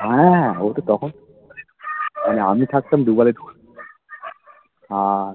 হ্যাঁ আমি থাকতাম দু বেলায় থাকতো হ্যাঁ